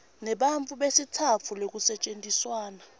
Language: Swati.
nebantfu besitsatfu lekusetjentiswana